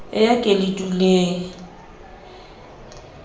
e a ke le duleng